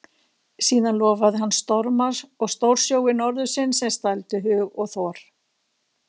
Síðan lofaði hann storma og stórsjói norðursins sem stældu hug og þor.